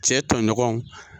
Cɛ tɔɲɔgɔnw